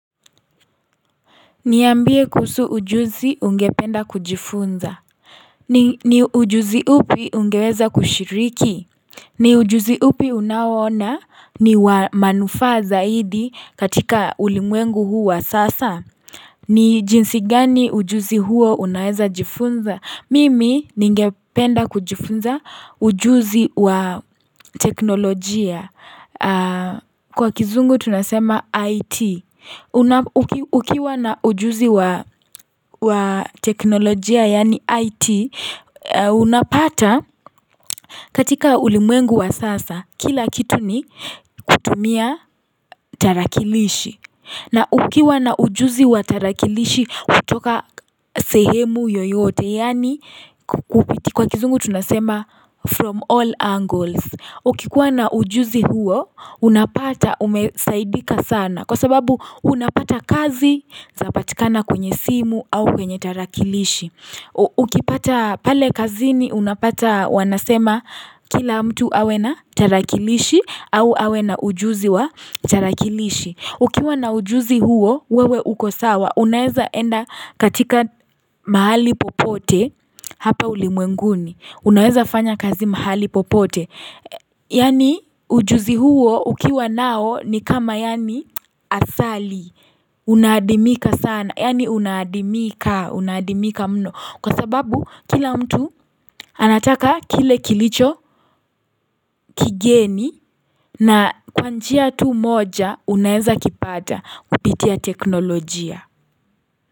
Niambie kuhusu ujuzi ungependa kujifunza ni ujuzi upi ungeweza kushiriki ni ujuzi upi unaoona ni wa manufaa zaidi katika ulimwengu huu wa sasa ni jinsi gani ujuzi huo unaeza jifunza? Mimi ningependa kujifunza ujuzi wa teknolojia. Kwa kizungu tunasema IT. Ukiwa na ujuzi wa teknolojia yani IT, unapata katika ulimwengu wa sasa, kila kitu ni kutumia tarakilishi. Na ukiwa na ujuzi wa tarakilishi hutoka sehemu yoyote yani kwa kizungu tunasema from all angles. Ukikuwa na ujuzi huo unapata umesaidika sana kwa sababu unapata kazi zapatikana kwenye simu au kwenye tarakilishi. Ukipata pale kazini unapata wanasema kila mtu awe na tarakilishi au awe na ujuzi wa tarakilishi. Ukiwa na ujuzi huo, wewe uko sawa. Unaeza enda katika mahali popote, hapa ulimwenguni. Unaeza fanya kazi mahali popote. Yani ujuzi huo, ukiwa nao, ni kama yani asali. Unaadimika sana. Yani unaadimika. Unaadimika mno. Kwa sababu kila mtu anataka kile kilicho kigeni na kwa njia tu moja unaeza kipata kupitia teknolojia.